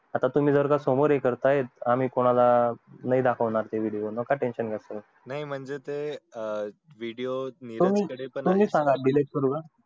आता जर तुम्ही समोर हे करतायत त आम्ही कोणाला नई दाखवणार ते video ते नका tension घेऊ तुम्ही ते म्हणजे ते video तुम्ही सांगा delete करू का